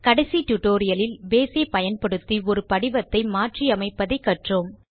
கடைசி டியூட்டோரியல் இல் பேஸ் ஐ பயன்படுத்தி ஒரு படிவத்தை மாற்றியமைப்பதை கற்றோம்